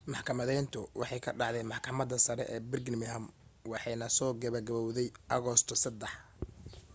maxkamadayntu waxay ka dhacday maxkamadda sare ee birmingham waxaanay soo gebo gabawday agoosto 3